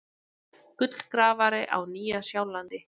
Gullgrafari á Nýja-Sjálandi.